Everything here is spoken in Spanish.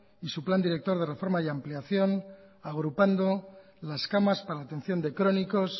y su plan director de reforma y ampliación agrupando las camas para la atención de crónicos